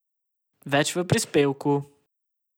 Več v prispevku!